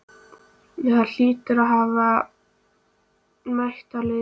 Þú hlýtur að hafa mætt þeim á heiðinni.